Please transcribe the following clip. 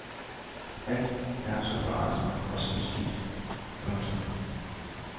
Alt er så forandret og så beskidt. punktum